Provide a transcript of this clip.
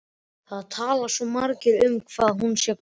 Það tali svo margir um hvað hún sé góð.